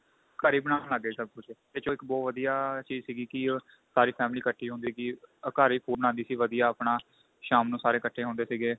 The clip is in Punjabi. ਘਰੇ ਈ ਬਣਾਨ ਲੱਗ ਗਏ ਸਭ ਕੁੱਝ ਇਸ ਚ ਇੱਕ ਬਹੁਤ ਵਧੀਆ ਚੀਜ ਸੀਗੀ ਕੀ ਸਾਰੀ family ਇੱਕਠੀ ਹੁੰਦੀ ਸੀ ਘਰ ਹੀ food ਬਣਾਂਦੇ ਸੀ ਵਧੀਆ ਆਪਣਾ ਸ਼ਾਮ ਨੂੰ ਸਾਰੇ ਇੱਕਠੇ ਹੁੰਦੇ ਸੀਗੇ